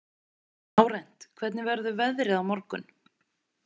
Lárent, hvernig verður veðrið á morgun?